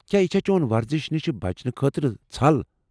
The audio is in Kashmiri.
کیٛاہ یہ چھا چون ورزش نش بچنہٕ خٲطرٕ ژھل ۔